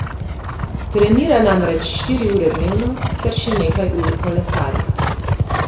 Trenira namreč štiri ure dnevno ter še nekaj ur kolesari.